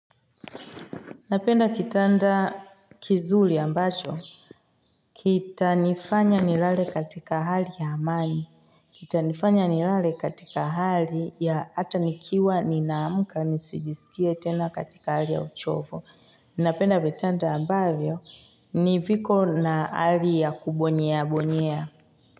Napenda kitanda kizuri ambacho. Kita nifanya nilale katika hali ya amani. Kitanifanya nilale katika hali ya hatanikiwa ninamuka nisijisikia tena katika hali ya uchovo. Napenda vitanda ambavyo niviko na hali ya kubonyea bonyea.